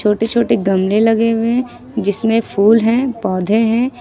छोटी छोटी गमले लगे हुए है जिसमें फूल हैं पौधे हैं।